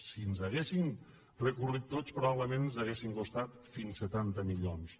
si ens haguessin recorregut tots probablement ens haurien costat fins a setanta milions